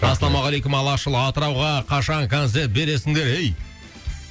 ассалаумағалейкум алашұлы атырауға қашан концерт бересіңдер ей